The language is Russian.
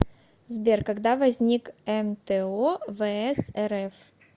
сбер когда возник мто вс рф